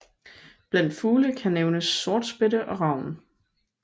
Blandt fugle kan nævnes sortspætte og ravn